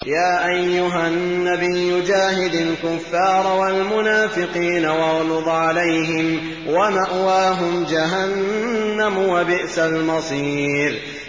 يَا أَيُّهَا النَّبِيُّ جَاهِدِ الْكُفَّارَ وَالْمُنَافِقِينَ وَاغْلُظْ عَلَيْهِمْ ۚ وَمَأْوَاهُمْ جَهَنَّمُ ۖ وَبِئْسَ الْمَصِيرُ